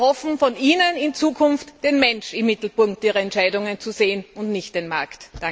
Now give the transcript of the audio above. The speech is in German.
Wir erhoffen von Ihnen, in Zukunft den Menschen im Mittelpunkt Ihrer Entscheidungen zu sehen und nicht den Markt.